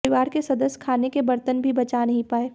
परिवार के सदस्य खाने के बर्तन भी बचा नहीं पाए